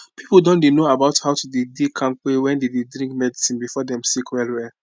people don dey know about how to dey dey kampe when dem dey drink medicine before dem sick well well